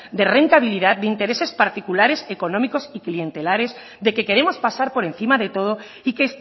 de rentabilidad de intereses particulares económicos y clientelares de que queremos pasar por encima de todo y que